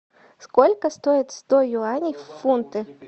сколько стоит сто юаней в фунты